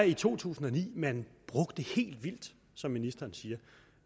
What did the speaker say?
i to tusind og ni man brugte helt vildt som ministeren siger